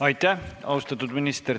Aitäh, austatud minister!